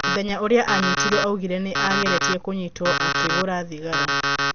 Mũthenya ũria anyitirwo augire nĩ ageretie kũnyitwo akĩgũra thigara